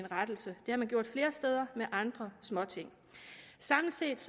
rettelse det har man gjort flere steder med andre småting samlet set